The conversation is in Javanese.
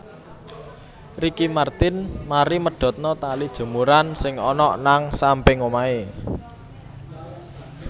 Ricky Martin mari medhotno tali jemuran sing onok nang samping omahe